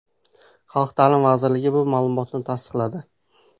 Xalq ta’limi vazirligi bu ma’lumotni tasdiqladi.